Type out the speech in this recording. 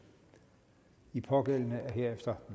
de pågældende er herefter